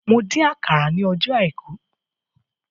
Mo dín àkàrà ní ọjọ́ àìkú